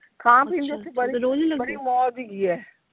ਖਾਣ ਪੀਣ ਦੀ ਓਥੇ ਬੜੀ ਬੜੀ ਮੌਜ ਹੈਗੀ ਆ।